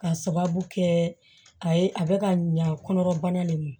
Ka sababu kɛ a ye a bɛ ka ɲa kɔnɔ bana re don